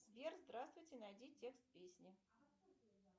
сбер здравствуйте найди текст песни